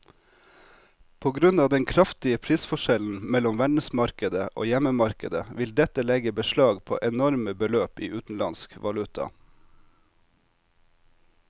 På grunn av den kraftige prisforskjellen mellom verdensmarkedet og hjemmemarkedet vil dette legge beslag på enorme beløp i utenlandsk valuta.